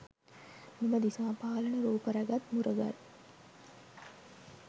මෙම දිසා පාලන රූප රැගත් මුරගල්